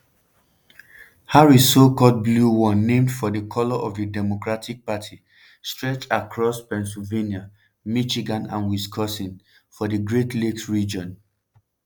harris so-called "blue" wall named for di colour of di democratic party stretch across across pennsylvania michigan and wisconsin for di great lakes region.